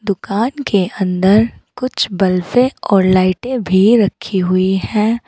दुकान के अंदर कुछ बल्बे और लाइटें भी रखी हुई हैं।